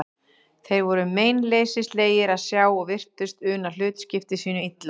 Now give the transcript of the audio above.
Þeir voru meinleysislegir að sjá og virtust una hlutskipti sínu illa.